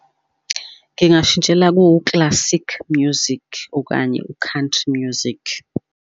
Ngingashintshela ku-classic music okanye u-country music.